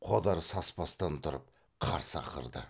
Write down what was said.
қодар саспастан тұрып қарсы ақырды